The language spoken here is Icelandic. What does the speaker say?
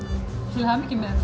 til hamingju með